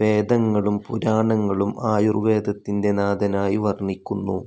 വേദങ്ങളും പുരാണങ്ങളും ആയൂർവേദത്തിന്റെ നാഥനായി വർണ്ണിക്കുന്നു.